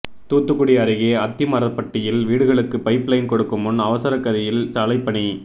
தூத்துக்குடி அருகே அத்திமரப்பட்டியில் வீடுகளுக்கு பைப் லைன் கொடுக்கும் முன் அவசர கதியில் சாலைப்பணி